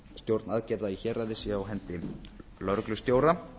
stjórn aðgerða í héraði sé á hendi lögreglustjóra